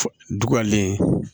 Dugalen